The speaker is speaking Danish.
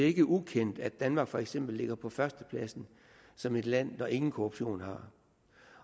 ikke ukendt at danmark for eksempel ligger på førstepladsen som et land der ingen korruption har